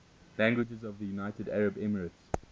languages of the united arab emirates